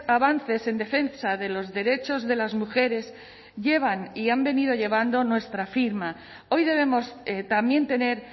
avances en defensa de los derechos de las mujeres llevan y han venido llevando nuestra firma hoy debemos también tener